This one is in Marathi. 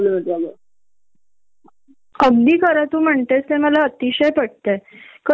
एक मिनिट इकडेतिकडे होतो आणि ते पण बर्याच असलेले रहदारी किंवा ट्राफिक मुळे च होतो कि ग.